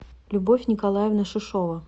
любовь николаевна шишова